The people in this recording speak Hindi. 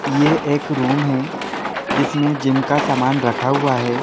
यह एक रूम है जिसमें जिम का समान रखा हुआ है।